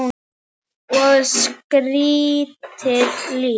Og skrýtið líf.